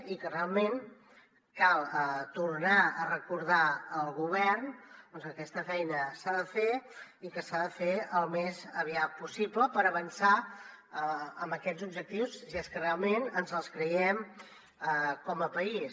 i realment cal tornar a recordar al govern que aquesta feina s’ha de fer i que s’ha de fer al més aviat possible per avançar en aquests objectius si és que realment ens els creiem com a país